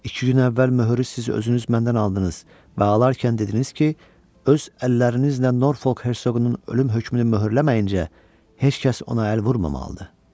İki gün əvvəl möhürü siz özünüz məndən aldınız və alarkən dediniz ki, öz əllərinizlə Norfolk Hersoqunun ölüm hökmünü möhürləməyincə heç kəs ona əl vurmamalıdır.